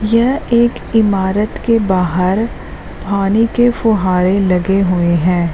यह एक इमारत के बाहर पानी के फुव्वारे लगे हुए हैं।